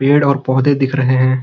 पेड़ और पौधे दिख रहें हैं।